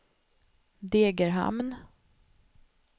Degerhamn